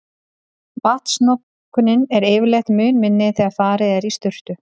Vatnsnotkunin er yfirleitt mun minni þegar farið er í sturtu.